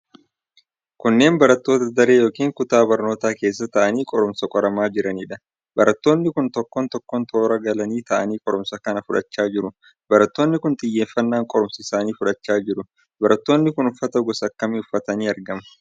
Kunneen barattoota daree yookiin kutaa barnootaa keessa taa'anii qoruumsa qoramaa jiraniidha. Barattoonni kun tokko tokkoon toora galanii ta'anii qoruumsa kana fudhachaa jiru. Barattoonni kun xiyyeeffannaan qoruumsa isaanii fudhachaa jiru. Barattoonni kun uffata gosa akkamii uffatanii argamu?